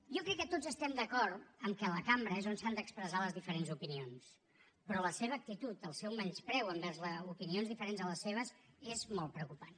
jo crec que tots estem d’acord que a la cambra és on s’han d’expressar les diferents opinions però la seva actitud el seu menyspreu envers opinions diferents a les seves és molt preocupant